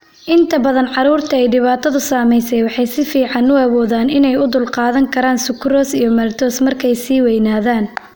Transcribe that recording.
Inta badan carruurta ay dhibaatadu saameysey waxay si fiican u awoodaan inay u dulqaadan karaan sukrose iyo maltose markay sii weynaadaan.